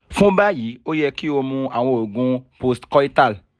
fun bayi o yẹ ki o mu awọn oogun post coital